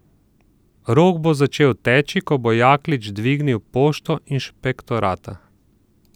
Rok bo začel teči, ko bo Jaklič dvignil pošto inšpektorata.